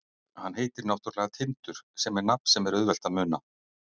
Hann heitir náttúrulega Tindur sem er nafn sem er auðvelt að muna.